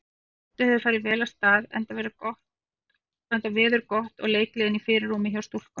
Mótið hefur farið vel af stað enda veður gott og leikgleðin í fyrirrúmi hjá stúlkunum.